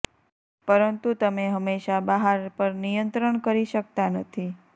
પરંતુ તમે હંમેશા બહાર પર નિયંત્રણ કરી શકતા નથી